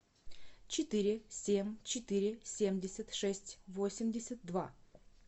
четыре семь четыре семьдесят шесть восемьдесят два